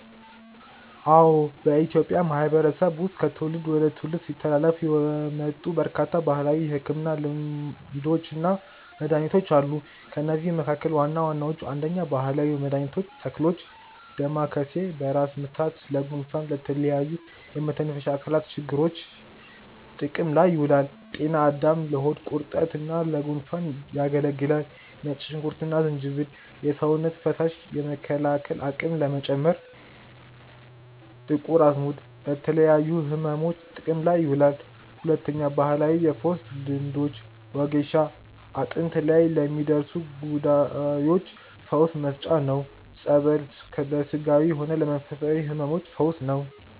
አዎ፣ በኢትዮጵያ ማህበረሰብ ዉስጥ ከትውልድ ወደ ትውልድ ሲተላለፉ የመጡ በርካታ ባህላዊ የሕክምና ልምዶችና መድኃኒቶች አሉ። ከእነዚህም መካከል ዋና ዋናዎቹ፦ 1. ባህላዊ መድኃኒቶች (ተክሎች) . ዳማከሴ፦ በራስ ምታት፣ ለጉንፋንና ለተለያዩ የመተንፈሻ አካላት ችግሮች ጥቅም ላይ ይውላል። . ጤና አዳም፦ ለሆድ ቁርጠትና ለጉንፋን ያገለግላል። . ነጭ ሽንኩርትና ዝንጅብል፦ የሰውነት በሽታ የመከላከል አቅም ለመጨመር። . ጥቁር አዝሙድ፦ ለተለያዩ ሕመሞች ጥቅም ላይ ይውላል። 2. ባህላዊ የፈውስ ልምዶች . ወጌሻ፦ አጥንት ላይ ለሚደርሱ ጉዳዮች ፈውስ መስጫ ነው። . ጸበል፦ hሥጋዊም ሆነ ለመንፈሳዊ ሕመሞች ፈውስ ነው።